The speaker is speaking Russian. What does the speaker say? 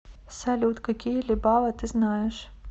салют какие либава ты знаешь